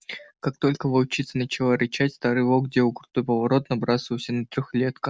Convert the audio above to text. как только волчица начала рычать старый волк делал крутой поворот и набрасывался на трёхлетка